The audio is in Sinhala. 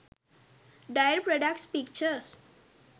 dairy products pictures